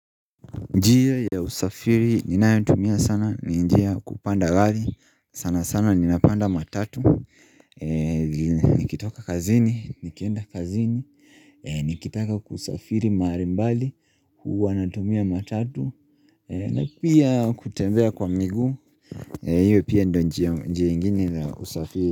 Njia ya usafiri, ninayotumia sana, ninjia kupanda gari, sana sana ninapanda matatu Nikitoka kazini, nikienda kazini, nikitaka kusafiri mahali mbali, huwa natumia matatu na pia kutembea kwa miguu, hiyo pia ndio njia ingine ya usafiri.